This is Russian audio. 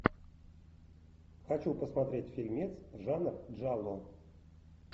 хочу посмотреть фильмец жанр джалло